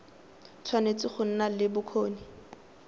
tshwanetse go nna le bokgoni